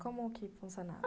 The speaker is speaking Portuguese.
Como que funcionava?